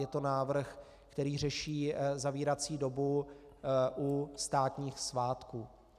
Je to návrh, který řeší zavírací dobu u státních svátků.